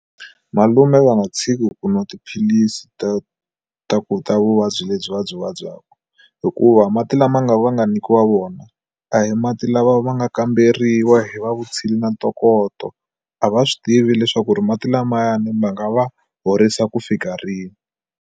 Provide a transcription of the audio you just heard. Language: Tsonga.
Malume va nga tshiki ku nwa tiphilisi to ta kuta vuvabyi lebyi va byi vabyaku hikuva mati lama nga va nga nyikiwa wina a hi mati lama ma nga kamberiwa hi va vutshila na ntokoto a va swi tivi leswaku ri mati lamayani va nga va horisa ku fika rini.